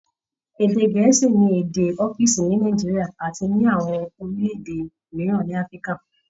Ede gẹ̀ẹ́sì ni èdè ọ́fíìsì ní Nigeria àti àwọn orílẹ̀-èdè mìíràn ní Africa